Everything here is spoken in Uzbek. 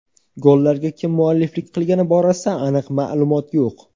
Gollarga kim mualliflik qilgani borasida aniq ma’lumot yo‘q.